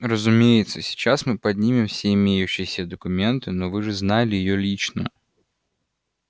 разумеется сейчас мы поднимем все имеющиеся документы но вы же знали её лично